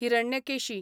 Hiranyakeshi